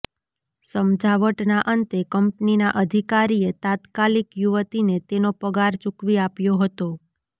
સમજાવટના અંતે કંપનીના અધિકારીએ તાત્કાલિક યુવતીને તેનો પગાર ચૂકવી આપ્યો હતો